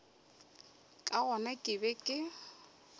ka gona ke be ke